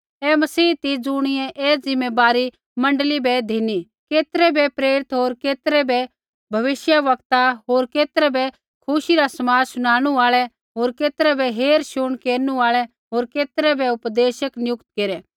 ऐ मसीह ती ज़ुणियै ऐ ज़िम्मैबारी मण्डली बै धिना केतरै बै प्रेरित होर केतरै बै भविष्यवक्ता होर केतरै बै खुशी रा समाद शुनाणु आल़ै होर केतरै बै हेरशुण केरनु आल़ै होर केतरै बै उपदेशक नियुक्त केरै